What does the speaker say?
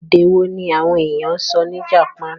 Èdè wo ní àwọn ènìyàn sọ ní Japan?